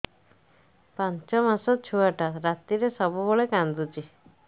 ପାଞ୍ଚ ମାସ ଛୁଆଟା ରାତିରେ ସବୁବେଳେ କାନ୍ଦୁଚି